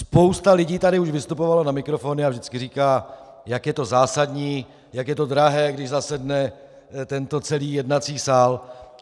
Spousta lidí už tady vystupovala na mikrofon a vždycky říká, jak je to zásadní, jak je to drahé, když zasedne tento celý jednací sál.